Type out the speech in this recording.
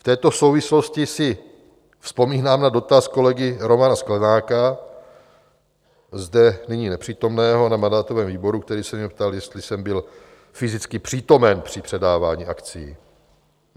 V této souvislosti si vzpomínám na dotaz kolegy Romana Sklenáka, zde nyní nepřítomného, na mandátovém výboru, který se mě ptal, jestli jsem byl fyzicky přítomen při předávání akcií.